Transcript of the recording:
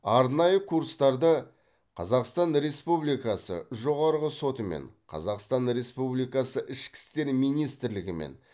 арнайы курстарды қазақстан республикасы жоғарғы сотымен қазақстан республикасы ішкі істер министрлігімен